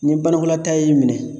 Ni banakɔlataa y'i minɛ